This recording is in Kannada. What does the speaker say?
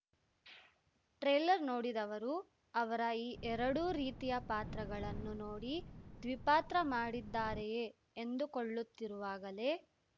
ಟ್ರೇಲರ್‌ ನೋಡಿದವರು ಅವರ ಈ ಎರಡೂ ರೀತಿಯ ಪಾತ್ರಗಳನ್ನು ನೋಡಿ ದ್ವಿಪಾತ್ರ ಮಾಡಿದ್ದಾರೆಯೇ ಎಂದುಕೊಳ್ಳುತ್ತಿರುವಾಗಲೇ